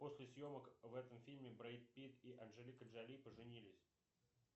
после съемок в этом фильме брэд питти анджелика джоли поженились